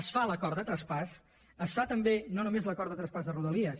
es fa l’acord de traspàs es fa també no només l’acord de traspàs de rodalies